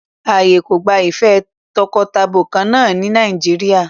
Ààyè kò gba ìfẹ́ takọtabo kan náà ní Nàìjíríà.